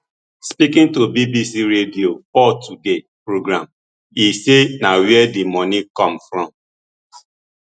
speaking to bbc radio four today programme e say na wia di money come from